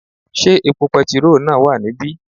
Sé epo petiró náà wà níbí?